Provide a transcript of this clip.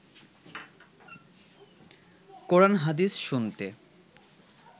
কোরান হাদিস শুনতে